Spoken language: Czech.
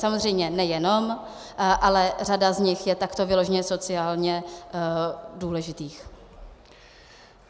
Samozřejmě nejenom, ale řada z nich je takto vyloženě sociálně důležitých.